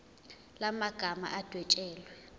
la magama adwetshelwe